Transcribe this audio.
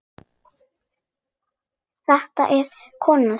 Þetta er konan mín!